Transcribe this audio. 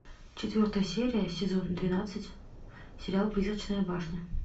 четвертая серия сезон двенадцать сериал призрачная башня